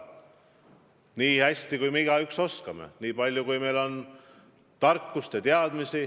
Me pingutame, nii hästi kui me igaüks oskame, nii palju kui meil on tarkust ja teadmisi.